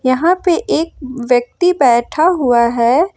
यहां पे एक व्यक्ति बैठा हुआ है।